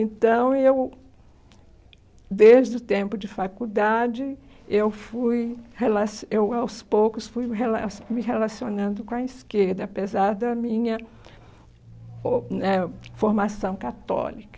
Então, eu, desde o tempo de faculdade, eu fui, relacio eu aos poucos, fui me rela me relacionando com a esquerda, apesar da minha o né formação católica.